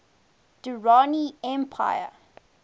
durrani empire